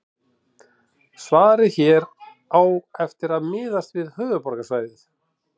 Svarið hér á eftir miðast við höfuðborgarsvæðið.